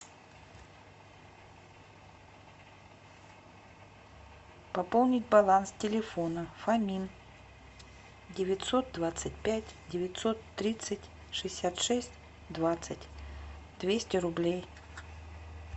пополнить баланс телефона фомин девятьсот двадцать пять девятьсот тридцать шестьдесят шесть двадцать двести рублей